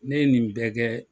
Ne ye nin bɛɛ kɛ.